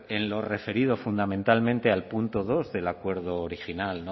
en lo referido fundamentalmente al punto dos del acuerdo original